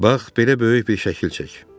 Bax, belə böyük bir şəkil çək.